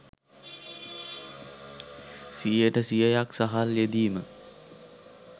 සියයට සියයක් සහල් යෙදීම